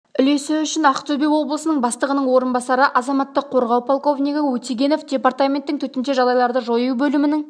үлесі үшін ақтөбе облысының бастығының орынбасары азаматтық қорғау полковнигі өтегенов департаменттің төтенше жағдайларды жою бөлімінің